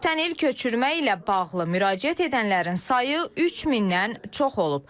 Ötən il köçürmə ilə bağlı müraciət edənlərin sayı 3000-dən çox olub.